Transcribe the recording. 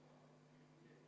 Aitäh!